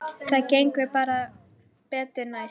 Það gengur bara betur næst.